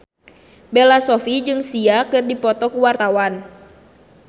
Bella Shofie jeung Sia keur dipoto ku wartawan